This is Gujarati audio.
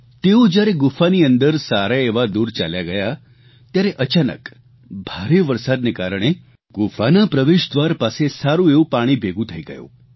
તેઓ જયારે ગુફાની અંદર સારાએવા દુર ચાલ્યા ગયા ત્યારે અચાનક ભારે વરસાદને કારણે ગુફાના પ્રવેશદ્વાર પાસે સારૂં એવું પાણી ભેગું થઇ ગયું